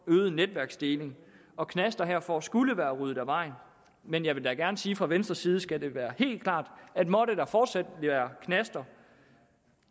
øget netværksdeling og knasterne herfor skulle være ryddet af vejen men jeg vil da gerne sige fra venstres side skal være helt klart at måtte der fortsat være knaster